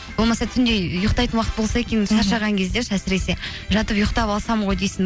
болмаса түнде ұйықтайтын уақыт болса екен шаршаған кезде ше әсіресе жатып ұйықтап алсам ғой дейсің